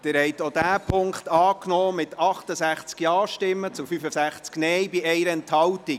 Sie haben auch diesen Punkt 5 angenommen mit 68 Ja- gegen 65 Nein-Stimmen bei 1 Enthaltung.